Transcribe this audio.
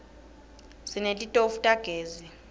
sinetitofu tagezi